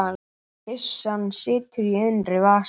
Byssan situr í innri vas